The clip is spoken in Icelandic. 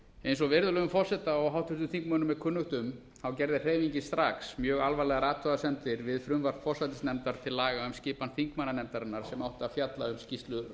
eins og virðulegum forseta og háttvirtum þingmönnum er kunnugt um gerði hreyfingin strax mjög alvarlegar athugasemdir við frumvarp forsætisnefndar til laga um skipan þingmannanefndarinnar sem áttu að fjalla um skýrslu